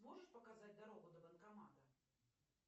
можешь показать дорогу до банкомата